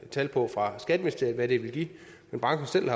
tal på fra skatteministeriet hvad det vil give men branchen selv